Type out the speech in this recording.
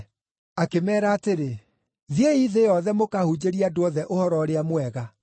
Akĩmeera atĩrĩ, “Thiĩi thĩ yothe mũkahunjĩrie andũ othe Ũhoro-ũrĩa-Mwega.